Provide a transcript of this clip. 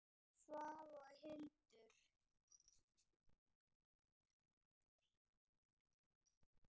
Björn, Svava og Hildur.